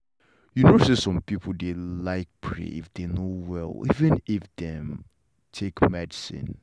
you know say some people dey like pray if them no well even if dem.take medicine